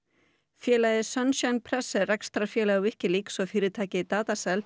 félagið press er rekstrarfélag Wikileaks og fyrirtækið